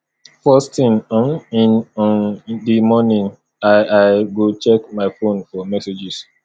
first thing um in um di morning i i go check my phone for messages